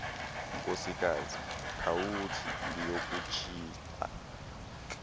nkosikazi khawuthi ndiyokutshixa